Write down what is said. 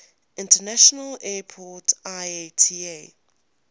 international airport iata